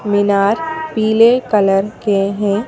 मीनार पीले कलर के हैं।